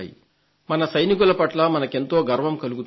మన సైనికుల పట్ల మనకెంతో గర్వం కలుగుతుంది